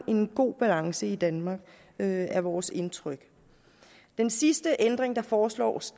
en god balance i danmark det er vores indtryk den sidste ændring der foreslås